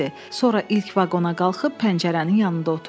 Sonra ilk vaqona qalxıb pəncərənin yanında oturdu.